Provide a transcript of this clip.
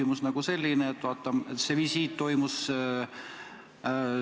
Mul on selline küsimus.